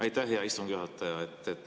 Aitäh, hea istungi juhataja!